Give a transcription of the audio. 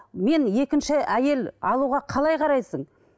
мен екінші әйел алуға қалай қарайсың